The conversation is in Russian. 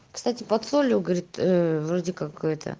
кстати под солью говорит вроде какой это